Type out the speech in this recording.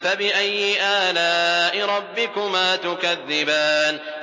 فَبِأَيِّ آلَاءِ رَبِّكُمَا تُكَذِّبَانِ